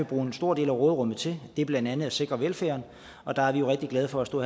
bruge en stor del af råderummet til det er blandt andet at sikre velfærden og der er vi jo rigtig glade for at stå